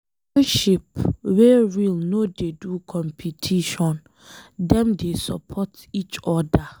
Friendship wey real no dey do competition, Dem dey support each oda.